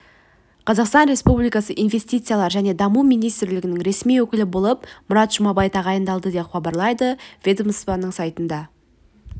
қазақстан республикасы инвестициялар және даму министрлігінің ресми өкілі болып мұрат жұманбай тағайындалды деп хабарлайды ведомствоның сайтына